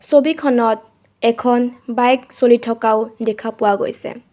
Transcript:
ছবিখনত এখন বাইক চলি থকাও দেখা পোৱা গৈছে.